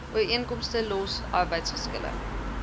ooreenkomste los arbeidsgeskille